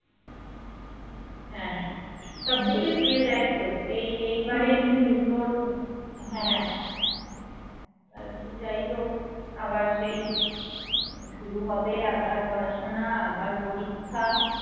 আর কি যাইহোক আবার সেই শুরুহবে আবার পড়াশোনা আবার পরীক্ষা